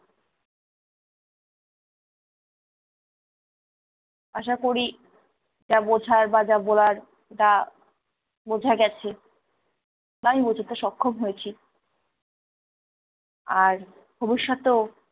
আশা করি যা বোঝার বা যা বলার তা বোঝা গেছে বা আমি বোঝাতে সক্ষম হয়েছি। আর ভবিষ্যতেও-